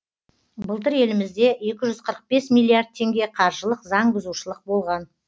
былтыр елімізде екі жүз қырық бес миллиард теңге қаржылық заң бұзушылық болған